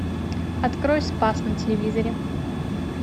открой спас на телевизоре